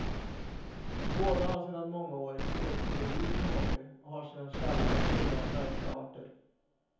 Båda har sedan många år exotiska djur som hobby och har sina källare fulla av märkliga arter.